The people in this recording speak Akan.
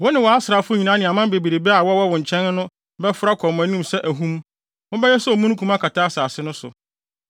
Wo ne wʼasraafo nyinaa ne aman bebrebe a wɔwɔ wo nkyɛn no bɛforo akɔ mo anim sɛ ahum. Mobɛyɛ sɛ omununkum akata asase no so.